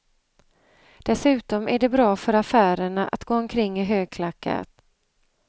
Dessutom är det bra för affärerna att gå omkring i högklackat.